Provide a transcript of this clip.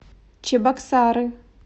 чебоксары